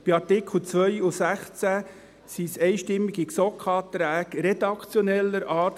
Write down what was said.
Bei Artikel 2 und 16 waren es einstimmige GSoK-Anträge redaktioneller Art.